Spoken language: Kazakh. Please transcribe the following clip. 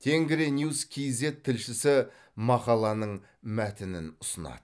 тенгриньюс кейзэт тілшісі мақаланың мәтінін ұсынады